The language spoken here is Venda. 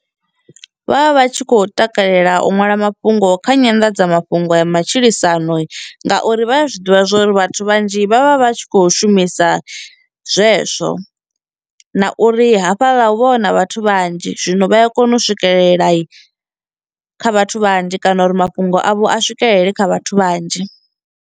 Vha vha vha tshi khou takalela u ṅwala mafhungo kha nyanḓadzamafhungo ya matshilisano ngauri vha ya zwiḓivha zwori vhathu vhanzhi vha vha vha tshi khou shumisa zwezwo, na uri hafhaḽa hu vha hu na vhathu vhanzhi zwino vha ya kona u swikelela kha vhathu vhanzhi kana uri mafhungo avho a swikelele kha vhathu vhanzhi.